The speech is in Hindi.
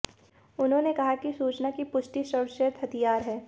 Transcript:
उन्होंने कहा कि सूचना की पुष्टि सर्वश्रेष्ठ हथियार है